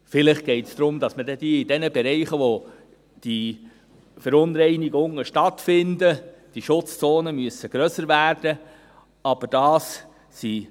Vielleicht geht es darum, dass dann in den Bereichen, wo die Verunreinigungen stattfinden, die Schutzzonen grösser werden müssen.